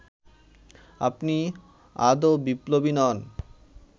আপনি আদৌ বিপ্লবী নন